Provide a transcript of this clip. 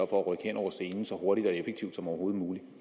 for at rykke hen over scenen så hurtigt og effektivt som overhovedet muligt